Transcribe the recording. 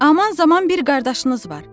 Aman zaman bir qardaşınız var.